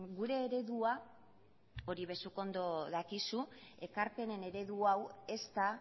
gure eredua hori ere zuk ondo dakizu ekarpenen eredu hau ez da